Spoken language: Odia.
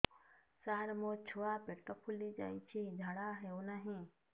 ସାର ମୋ ଛୁଆ ପେଟ ଫୁଲି ଯାଉଛି ଝାଡ଼ା ହେଉନାହିଁ